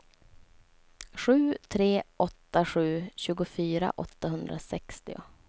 sju tre åtta sju tjugofyra åttahundrasextio